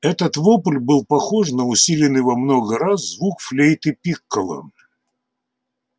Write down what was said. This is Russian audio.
этот вопль был похож на усиленный во много раз звук флейты-пикколо